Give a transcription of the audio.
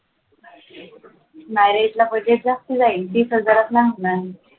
Marriott ला budget जास्त जाईल तीस हजारात नई होणार.